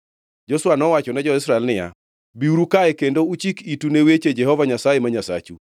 Joshua nowachone jo-Israel niya, “Biuru kae kendo uchik itu ne weche Jehova Nyasaye ma Nyasachu.